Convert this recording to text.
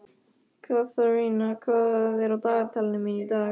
Katharina, hvað er á dagatalinu mínu í dag?